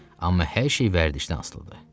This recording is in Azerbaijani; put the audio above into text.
Amma hər şey vərdişdən asılıdır.